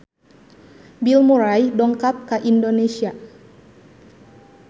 Bill Murray dongkap ka Indonesia